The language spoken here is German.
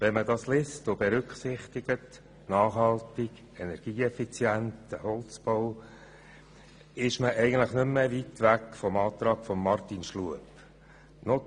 Wenn man das liest und berücksichtigt – nachhaltig, energieeffizient, Holzbau –, ist man eigentlich nicht mehr weit vom Antrag von Grossrat Schlup entfernt.